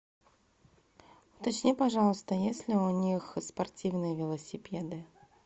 уточни пожалуйста есть ли у них спортивные велосипеды